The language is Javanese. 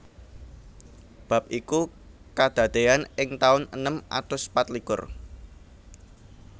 Bab iku kadadéyan ing taun enem atus patlikur